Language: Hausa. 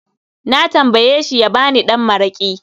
Na tambayeshi ya ba ni ɗan mara'ki